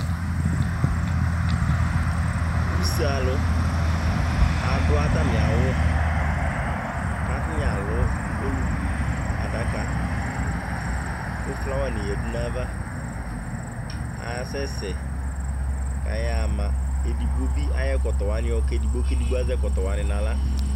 use alʊɛdɩnɩ adʊ atamiawu kʊ atanɩ alʊ oluku nʊ adaka, flawanɩ yadʊ nʊ ayava, asɛ sɛ kayaɣa ma, atanɩ ayɔ atami ɛkɔtɔwanɩ yɔ ka ɔlʊɛdigbo kayɔ zɛ